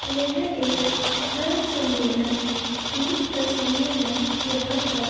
यह एक धर्म सम्मेलन की तस्वीर है। यहाँ पर --